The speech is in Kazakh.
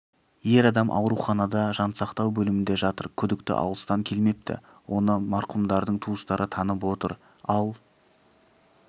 ер адам ауруханада жансақтау бөлімінде жатыр күдікті алыстан келмепті оны марқұмдардың туыстары танып отыр ал